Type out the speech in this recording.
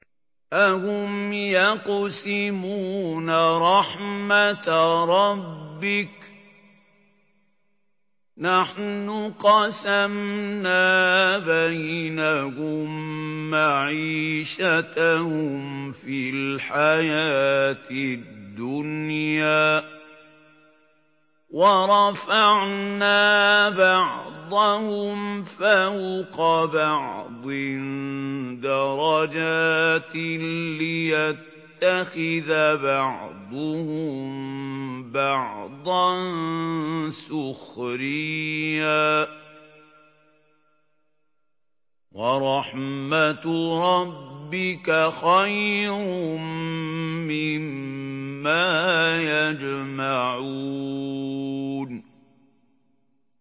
أَهُمْ يَقْسِمُونَ رَحْمَتَ رَبِّكَ ۚ نَحْنُ قَسَمْنَا بَيْنَهُم مَّعِيشَتَهُمْ فِي الْحَيَاةِ الدُّنْيَا ۚ وَرَفَعْنَا بَعْضَهُمْ فَوْقَ بَعْضٍ دَرَجَاتٍ لِّيَتَّخِذَ بَعْضُهُم بَعْضًا سُخْرِيًّا ۗ وَرَحْمَتُ رَبِّكَ خَيْرٌ مِّمَّا يَجْمَعُونَ